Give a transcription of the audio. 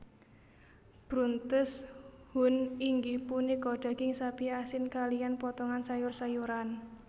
Bruntes Huhn inggih punika daging sapi asin kaliyan potongan sayur sayuran